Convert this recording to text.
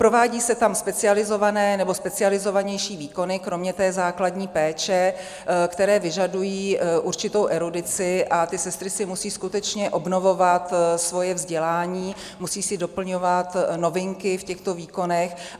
Provádějí se tam specializované nebo specializovanější výkony, kromě té základní péče, které vyžadují určitou erudici, a ty sestry si musí skutečně obnovovat svoje vzdělání, musí si doplňovat novinky v těchto výkonech.